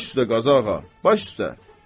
Baş üstə Qazağa, baş üstə.